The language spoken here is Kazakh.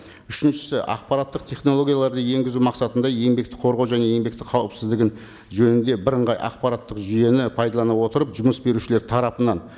үшіншісі ақпараттық технологияларды енгізу мақсатында еңбекті қорғау және еңбектің қауіпсіздігі жөнінде бірыңғай ақпараттық жүйені пайдалана отырып жұмыс берушілер тарапынан